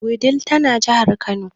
Wudil tana jahar kano.